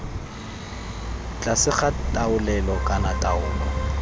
tlase ga taolelo kana taolo